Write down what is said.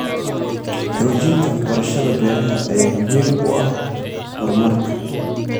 Xoojinta waxbarashada beeraha ayaa muhiim u ah horumarka.